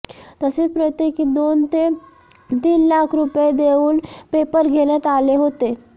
तसेच प्रत्येकी दोन ते तीन लाख रुपये देऊन पेपर घेण्यात आले होते